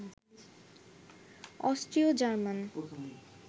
অস্ট্রীয় German